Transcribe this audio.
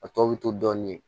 A tɔ bɛ to dɔɔnin